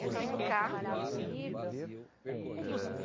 Entramos no carro.